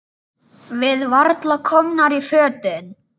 Við varla komnar í fötin.